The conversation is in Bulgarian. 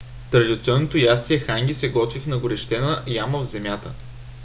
традиционното ястие ханги се готви в нагорещена яма в земята